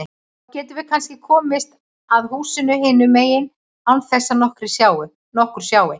Þá getum við kannski komist að húsinu hinum megin án þess að nokkur sjái.